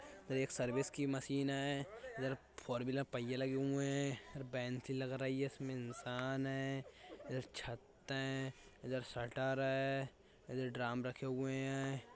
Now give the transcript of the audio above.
एक सर्विस की मशीन है इधर फोरव्हीलर पहिये लगे हुए हैं और बेंच सी लग रही है। इसमे इंसान है इधर छत है इधर शटर है। इधर ड्रम रखे हुए हैं।